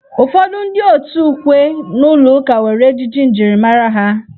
Ụfọdụ ndị òtù ukwe n'ụlọ ụka nwere ejiji njirimara ha.